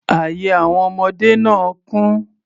Ààye àwọn ọmọdé náà kún.